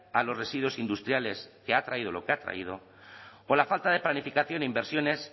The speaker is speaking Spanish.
a los residuos industriales que ha traído lo que ha traído o la falta de planificación e inversiones